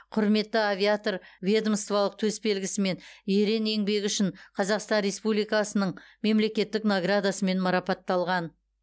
құрметті авиатор ведомстволық төс белгісімен ерен еңбегі үшін қазақстан республикасының мемлекеттік наградасымен марапатталған